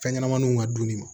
Fɛnɲɛnɛmaninw ka dumuni ma